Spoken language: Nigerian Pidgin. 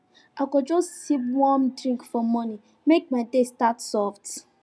i go just sip one warm drink for morning make my day start soft